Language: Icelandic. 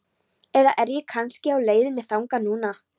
Eða er ég kannski á leiðinni þangað núna?